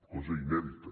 cosa inèdita